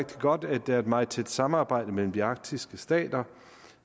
godt at der er et meget tæt samarbejde mellem de arktiske stater